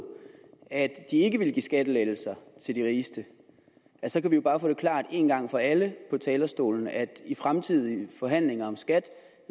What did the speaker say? at de ikke ville give skattelettelser til de rigeste så kan vi jo bare få det gjort klart en gang for alle fra talerstolen at i fremtidige forhandlinger om skat